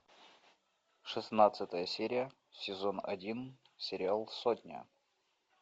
шестнадцатая серия сезон один сериал сотня